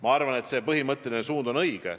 Ma arvan, et see põhimõtteline suund on õige.